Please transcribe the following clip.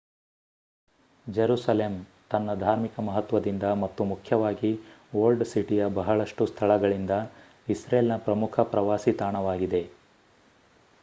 Jerusalem ತನ್ನ ಧಾರ್ಮಿಕ ಮಹತ್ವದಿಂದ ಮತ್ತು ಮುಖ್ಯವಾಗಿ ಓಲ್ಡ್ ಸಿಟಿಯ ಬಹಳಷ್ಟು ಸ್ಥಳಗಳಿಂದ ಇಸ್ರೇಲ್ ನ ಪ್ರಮುಖ ಪ್ರವಾಸಿ ತಾಣವಾಗಿದೆ